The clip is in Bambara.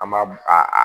An b'a a